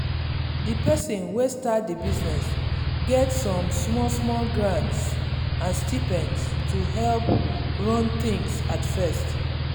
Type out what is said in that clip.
the person wey start the business get some small small grants and stipends to help run things at first.